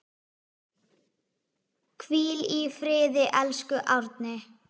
Hvíl í friði, elsku Árni.